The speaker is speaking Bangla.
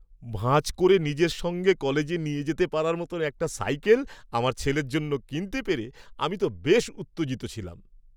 ভাঁজ করে নিজের সঙ্গে কলেজে নিয়ে যেতে পারার মতো একটা সাইকেল আমার ছেলের জন্য কিনতে পেরে আমি তো বেশ উত্তেজিত ছিলাম।